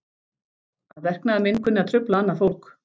Að verknaður minn kunni að trufla annað fólk.